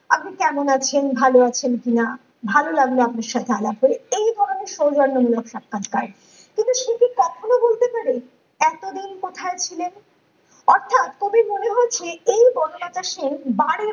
আপনি কেমন আছেন ভালো আছেন কিনা ভালো লাগলো আপনার সঙ্গে আলাপে এই ধরনের সৌজন্যমূলক সাক্ষাৎকার কিন্তু সে কি কখনোই বলতে পারে এতদিন কোথায় ছিলেন অর্থাৎ কবির মনে হয়েছে এই বনলতা সেন বারে